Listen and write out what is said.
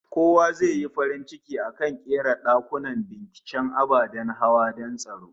Kowa zai yi farin ciki in aka ƙera dakunan binciken ababen hawa don tsaro